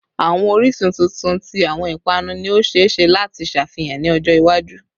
Awọn oriṣi tuntun ti awọn ipanu ni o ṣee ṣe lati ṣafihan ni ọjọ iwaju